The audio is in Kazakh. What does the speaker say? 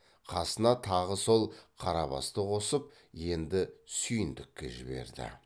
қасына тағы сол қарабасты қосып енді сүйіндікке жіберді